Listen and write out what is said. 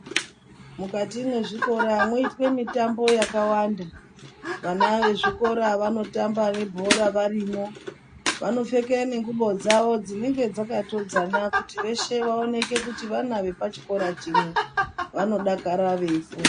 Mukati mezvikora meyitwe mitambo yakawanda. Vana vezvikora vanotamba nebhora varimo. Vanopfeke nenguwo dzawo dzinenge dzakatodzana kuti weshe vaonekwe kuti vana vepachikora chimwe. Vanodakara veyifunda.